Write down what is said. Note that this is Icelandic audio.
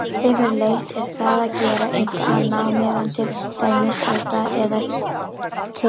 Yfirleitt er það að gera eitthvað annað á meðan, til dæmis elda eða keyra.